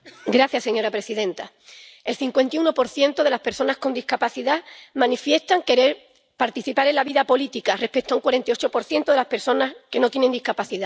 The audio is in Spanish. Señora presidenta, el 51 de las personas con discapacidad manifiesta querer participar en la vida política, frente al 48 de las personas que no tiene discapacidad.